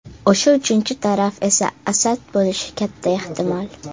O‘sha uchinchi taraf esa Asad bo‘lishi katta ehtimol.